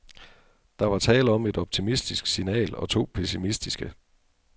Der var tale om et optimistisk signal og to pessimistiske.